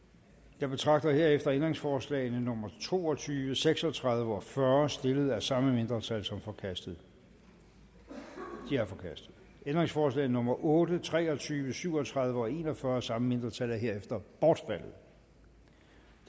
jeg betragter herefter ændringsforslag nummer to og tyve seks og tredive og fyrre stillet af samme mindretal som forkastet de er forkastet ændringsforslag nummer otte tre og tyve syv og tredive og en og fyrre af samme mindretal er herefter bortfaldet